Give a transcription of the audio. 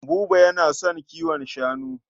Buba yana son kiwon shanu.